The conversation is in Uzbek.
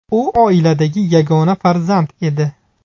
U oiladagi yagona farzand edi.